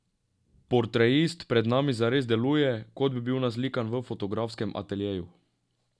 Portretist pred nami zares deluje, kot bi bil naslikan v fotografskem ateljeju.